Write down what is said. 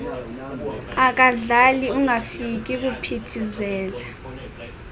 akadlali ungafika kuphithizela